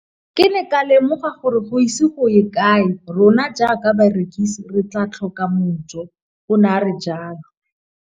Ke ne ka lemoga gore go ise go ye kae rona jaaka barekise re tla tlhoka mojo, o ne a re jalo.